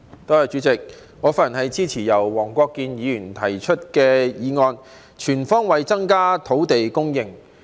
代理主席，我發言支持由黃國健議員提出的"全方位增加土地供應"議案。